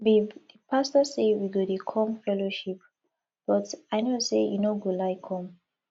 babe the pastor say we go dey come fellowship but i no say you no go like come